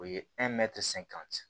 O ye